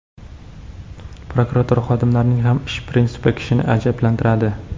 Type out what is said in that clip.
Prokuratura xodimlarining ham ish prinsipi kishini ajablantiradi.